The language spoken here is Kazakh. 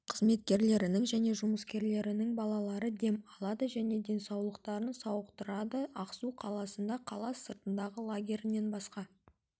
қызметкерлерінің және жұмыскерлерінің балалары дем алады және денсаулықтарын сауықтырады ақсу қаласында қала сыртындағы лагерінен басқа